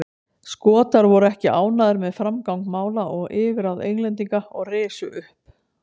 Skotar voru ekki ánægðir með framgang mála og yfirráð Englendinga og risu upp.